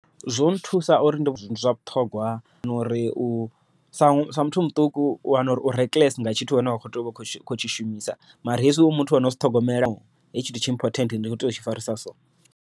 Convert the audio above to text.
Zwo nthusa uri ndi zwa vhuṱhogwa no uri sa muthu muṱuku, u wana uri u rekiḽese nga tshithu tshine wa tea u vha u khou tshi shumisa, mara hezwi u muthu wono u zwi ṱhogomela hetshi tshithu tshi important ndi kho tea u tshi farisa so.